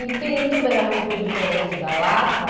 E Pirituba era muito diferente da Lapa?